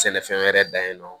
Sɛnɛfɛn wɛrɛ dan ye nɔ